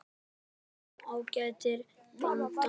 Við vorum ágætis blanda.